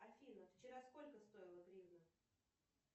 афина вчера сколько стоила гривна